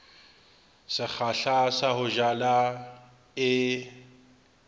sekgahla sa ho jala e